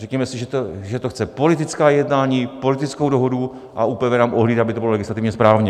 Řekněme si, že to chce politická jednání, politickou dohodu, a ÚPV nám ohlídá, aby to bylo legislativně správně.